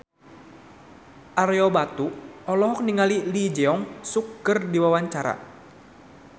Ario Batu olohok ningali Lee Jeong Suk keur diwawancara